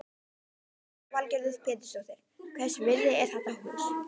Lillý Valgerður Pétursdóttir: Hvers virði er þetta hús?